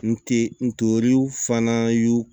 N te ntori fana y'u